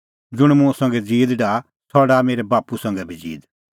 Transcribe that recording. ज़ुंण मुंह संघै ज़ीद डाहा सह डाहा मेरै बाप्पू संघै बी ज़ीद